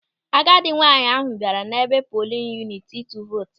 Agadi nwaanyị ahụ bịara n'ebe polin yuniti ịtụ vootu ya.